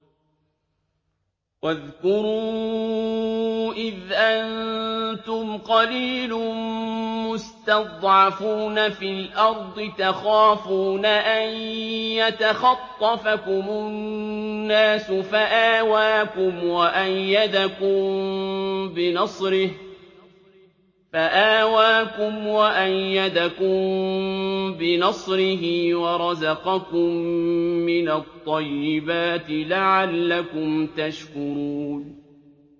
وَاذْكُرُوا إِذْ أَنتُمْ قَلِيلٌ مُّسْتَضْعَفُونَ فِي الْأَرْضِ تَخَافُونَ أَن يَتَخَطَّفَكُمُ النَّاسُ فَآوَاكُمْ وَأَيَّدَكُم بِنَصْرِهِ وَرَزَقَكُم مِّنَ الطَّيِّبَاتِ لَعَلَّكُمْ تَشْكُرُونَ